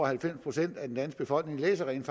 halvfems procent af den danske befolkning rent